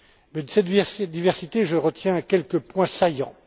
De cette diversité, je retiens quelques points saillants.